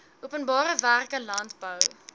openbare werke landbou